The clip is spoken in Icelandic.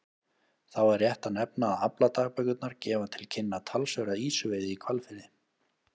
Þá er rétt að nefna að afladagbækurnar gefa til kynna talsverða ýsuveiði í Hvalfirði.